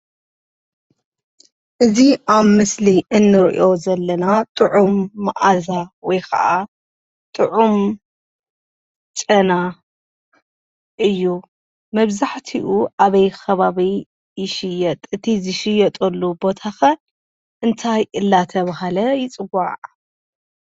እዚ ኣብ ምስሊ እንርእዮ ዘለና ጥዑም ማኣዛ ወይኸዓ ጥዑም ጨና እዩ። መብዛሕቲኡ ኣበይ ኸባቢ ይሽየጥ እቲ ዝሽየጠሉ ቦታ ኸ እንታይ እንዳተባሃለ ይፅዋዕ?